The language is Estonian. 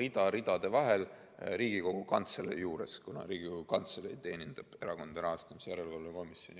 rida ridade vahel Riigikogu Kantselei juures, kuna Riigikogu Kantselei teenindab Erakondade Rahastamise Järelevalve Komisjoni.